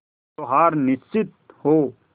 जो हार निश्चित हो